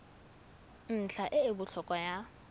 ntlha e e botlhokwa ya